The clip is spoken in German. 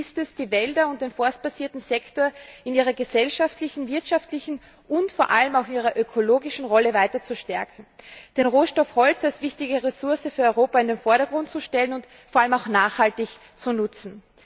Ziel ist es, die Wälder und den forstbasierten Sektor in ihrer gesellschaftlichen, wirtschaftlichen und vor allem auch ihrer ökologischen Rolle weiter zu stärken, den Rohstoff Holz als wichtige Ressource für Europa in den Vordergrund zu stellen und vor allem auch nachhaltig zu nutzen.